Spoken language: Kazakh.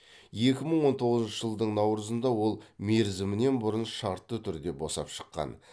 екі мың он тоғызыншы жылдың наурызында ол мерзімінен бұрын шартты түрде босап шыққан